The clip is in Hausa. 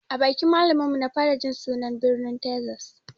A bakin malamin mu na fara jin sunan birnin tezas